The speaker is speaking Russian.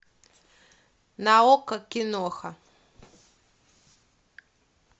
на окко киноха